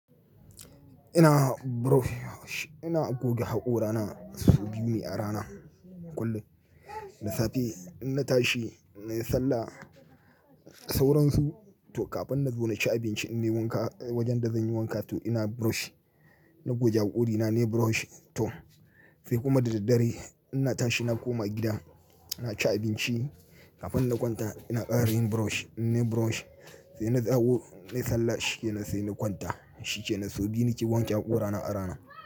Ina brush, ina goge haƙora na su biyu ne a rana kullum. Da safe ina tashi na yi sallah, sauransu to kafin na zo na ci abinci ina wanka wajen da zan yi wanka to ina brush. Na goge haƙori na, na yi brush to sai kuma da daddare ina tashi na koma gida na ci abinci kafin na kwanta ina ƙarin brush. Ina yi brush sai na dawo na yi sallah shikenan sai na kwanta shikenan. So biyu nake wanke haƙora na a rana.